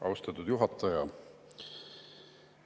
Austatud juhataja!